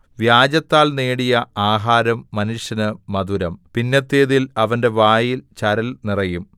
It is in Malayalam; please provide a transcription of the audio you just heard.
വ്യാജത്താൽ നേടിയ ആഹാരം മനുഷ്യന് മധുരം പിന്നത്തേതിൽ അവന്റെ വായിൽ ചരൽ നിറയും